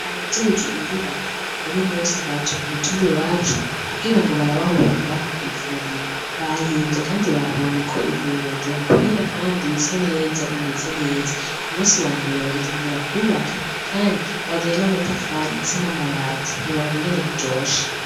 Abajejwe inyubako uno munsi baje k'umutumba iwacu kugira ngo barabe aho bokwubaka ivuriro bahimvye kandi babonye ko ivuriro ryohakwira kandi risa neza rimeze neza kumunsi wambere bazotangura kwubaka kandi bazanye n'amatafari ndetse n'amabati ntiworaba ingene biryoshe